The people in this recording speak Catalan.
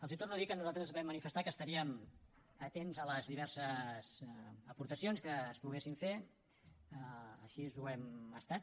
els torno a dir que nosaltres vam manifestar que estaríem atents a les diverses aportacions que es poguessin fer així ho hem estat